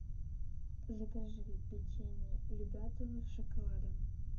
закажи печенье любятово с шоколадом